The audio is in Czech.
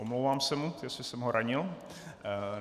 Omlouvám se mu, jestli jsem ho ranil.